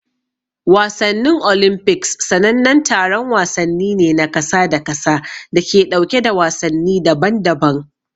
Wasannin Olimpiks sanannen taron wasanni ne na kasa da kasa da ke ɗauke da wasanni daban-daban.